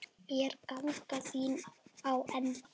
Er ganga þín á enda?